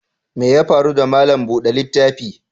Mai ya faru da malam bude littafi?